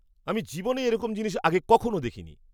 আমি জীবনে এরকম জিনিস আগে কখনো দেখিনি।